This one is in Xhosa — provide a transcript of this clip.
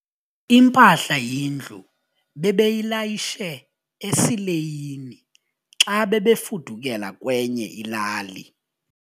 Impahla yendlu bebeyilayishe esileyini xa bebefudukela kwenye ilali.